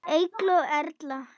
Eygló Erla.